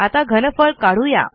आता घनफळ काढू या